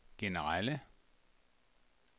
generelle